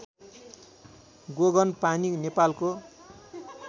गोगनपानी नेपालको